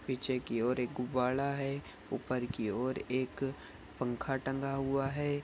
पीछे की ओर एक गुब्बारा है ऊपर की ओर एक पंखा टंगा हुआ है।